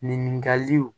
Ɲininkaliw